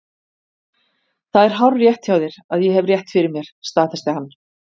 Það er hárrétt hjá þér að ég hef rétt fyrir mér, staðfesti hann.